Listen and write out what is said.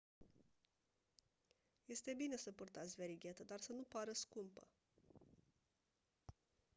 este bine să purtați verighetă dar să nu pară scumpă